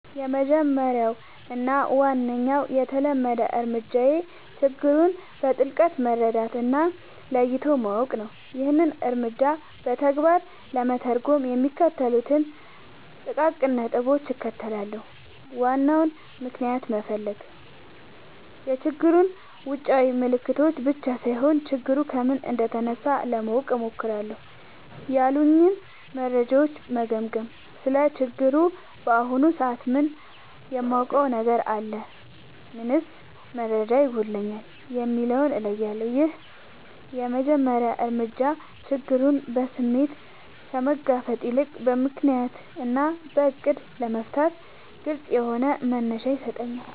—የመጀመሪያው እና ዋነኛው የተለመደ እርምጃዬ ችግሩን በጥልቀት መረዳት እና ለይቶ ማወቅ ነው። ይህንን እርምጃ በተግባር ለመተርጎም የሚከተሉትን ጥቃቅን ነጥቦች እከተላለሁ፦ ዋናውን ምክንያት መፈለግ፣ የችግሩን ውጫዊ ምልክቶች ብቻ ሳይሆን፣ ችግሩ ከምን እንደተነሳ ለማወቅ እሞክራለሁ። ያሉኝን መረጃዎች መገምገም: ስለ ችግሩ በአሁኑ ሰዓት ምን የማውቀው ነገር አለ? ምንስ መረጃ ይጎድለኛል? የሚለውን እለያለሁ። ይህ የመጀመሪያ እርምጃ ችግሩን በስሜት ከመጋፈጥ ይልቅ በምክንያት እና በዕቅድ ለመፍታት ግልጽ የሆነ መነሻ ይሰጠኛል።